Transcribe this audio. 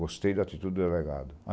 Gostei da atitude do delegado.